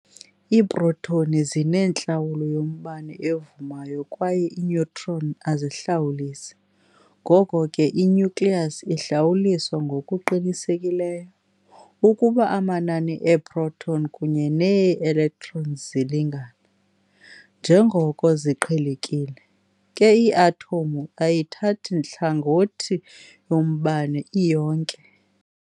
Iiprotoni zinentlawulo yombane evumayo kwaye iineutron azihlawulisi, ngoko ke i-nucleus ihlawuliswa ngokuqinisekileyo. Ukuba amanani eeproton kunye nee-electron zilingana, njengoko ziqhelekile, ke ii-athomu ayithathi hlangothi yombane iyonke.